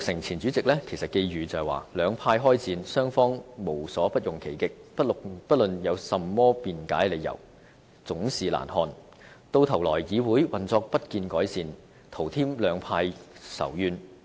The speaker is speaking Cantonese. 前主席曾鈺成寄語"兩派開戰，雙方無所不用其極，不論有甚麼辯解理由，總是難看；到頭來議會運作不見改善，徒添兩派仇怨。